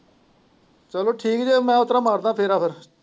ਚੱਲੋ ਠੀਕ ਜੇ ਮੈਂ ਮਾਰਦਾ ਫੇਰਾ ਫੇਰ।